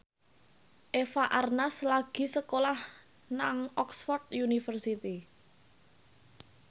Eva Arnaz lagi sekolah nang Oxford university